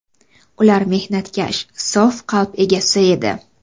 Ular mehnatkash, sof qalb egasi edi.